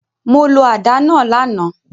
Mo lo àdá náa làná